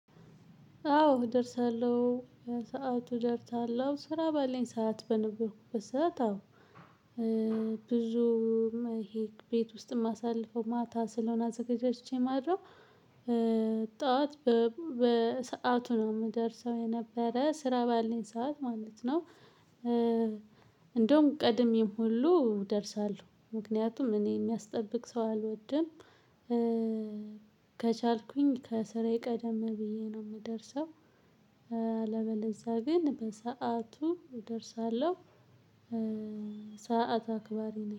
አዎ እደርሳለሁ በሰአቱ እደርሳለሁ ስራ ባለኝ ሰዓት በነበርኩበት ሰዓት አዎ ብዙም ይሄ ቤት ውስጥ ማሳልፈው ማታ ስለሆነ አዘገጃጅቼ ማድረው ጠዋት በሰአቱ ነው የምደርሰው የነበረ ስራ ባለኝ ሰዓት ማለት ነው። እንደውም ቀድሜም ሁሉ እደርሳለሁ ምክንያቱም እኔ የሚያስጠብቅ ሰው አልወድም። ከቻልኩኝ ከስራዬ ቀደም ብዬ ነው የምደርሰው። አለበለዚያ ግን በሰአቱ እደርሳለሁ። ሰዓት አክባሪ ነኝ